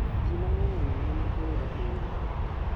ji mangeny nene oyudo hinyruok